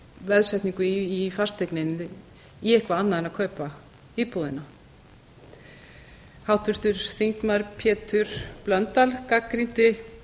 veðsetningu í í fasteigninni í eitthvað annað en að kaupa íbúðina háttvirtur þingmaður pétur blöndal gagnrýndi